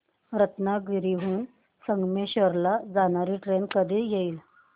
रत्नागिरी हून संगमेश्वर ला जाणारी ट्रेन कधी येईल